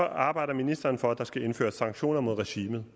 arbejder ministeren for at der skal indføres sanktioner mod regimet